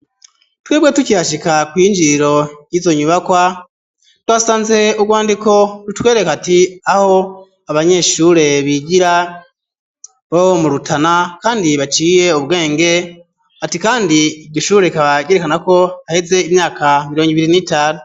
Twebwe tukihashika kw'iyinjiriro yizo nyubakwa twasanze ubwandiko butwereka ati aho abanyeshure bigira bo murutana kandi baciye ubwenge ati kandi Iryo shure bakaryerekanako haheze imyaka mirongo ibiri nitanu.